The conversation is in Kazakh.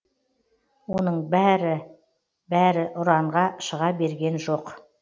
оның бәр бәрі ұранға шыға берген жоқ